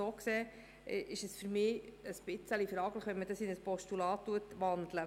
So gesehen halte ich es für etwas fragwürdig, dies in ein Postulat umzuwandeln.